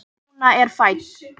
Lúna er fædd.